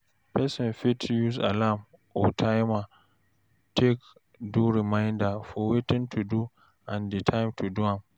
Person fit use alarm or timer take do reminder for wetin to do and di time to do am